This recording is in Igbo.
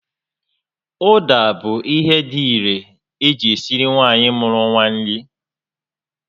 Ụda bụ ihe dị irè eji esiri nwaanyị mụru nwa nri